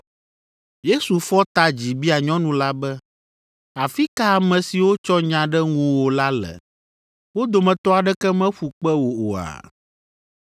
Yesu fɔ ta dzi bia nyɔnu la be, “Afi ka ame siwo tsɔ nya ɖe ŋuwò la le? Wo dometɔ aɖeke meƒu kpe wò oa?”